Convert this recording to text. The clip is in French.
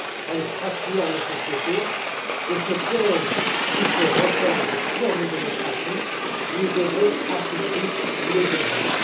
Elle fracture nos sociétés, et ce piège qui se referme sur nos démocraties, nous devons à tout prix le déjouer.